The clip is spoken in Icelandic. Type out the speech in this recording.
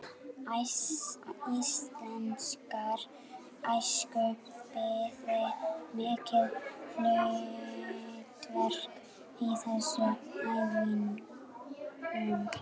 Íslenskrar æsku biði mikið hlutverk í þessum efnum.